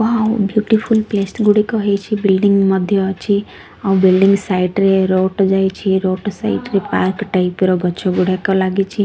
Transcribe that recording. Wow beautiful place ଗୁଡ଼ିକ ହେଇଛି building ମଧ୍ୟ ଅଛି ଆଉ ବିଲ୍ଡିଂ ସାଇଡ ରେ ରୋଡ ଯାଇଛି ରୋଡ ସାଇଡ ରେ ପାର୍କ ଟାଇପ୍ ର ଗଛ ଗୁଡ଼ାକ ଲାଗିଛି।